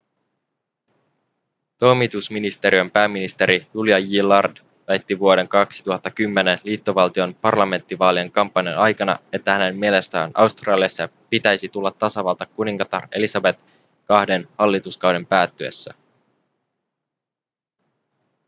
toimitusministeriön pääministeri julia gillard väitti vuoden 2010 liittovaltion parlamenttivaalien kampanjan aikana että hänen mielestään australiasta pitäisi tulla tasavalta kuningatar elisabet ii:n hallituskauden päättyessä